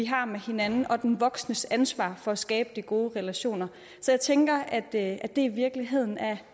har med hinanden og den voksnes ansvar for at skabe de gode relationer så jeg tænker at det i virkeligheden er